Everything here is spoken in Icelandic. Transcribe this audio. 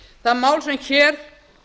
það mál sem hér